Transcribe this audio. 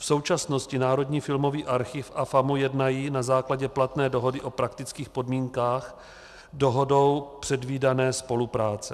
V současnosti Národní filmový archiv a FAMU jednají na základě platné dohody o praktických podmínkách dohodou předvídané spolupráce.